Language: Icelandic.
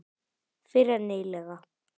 Fyrr en nýlega.